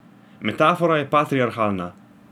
Metafora je patriarhalna.